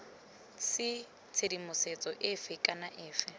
c tshedimosetso efe kana efe